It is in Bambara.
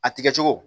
A tigɛ cogo